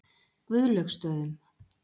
Guðlaugsstöðum